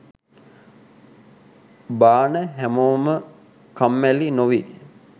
බාන හැමෝම කම්මැලි නොවී